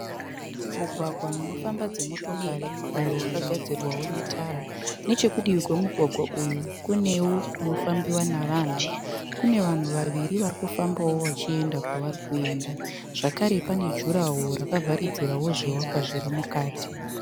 Mugwagwa unofamba dzimotokari uyo wakagadzirwawo netara. Nechekudivi kwemugwagwa uyu kunewo kunofambiwa navanhu. Kune vanhu vaviri varikufambawo vachienda kwavari kuenda. Zvakare pane juraho rakavharidzirawo zvivakwa zviri mukati.